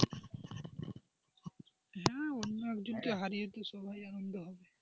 হ্যাঁ অন্য একজনকে হারিয়ে তো সবাই আনন্দ হবে,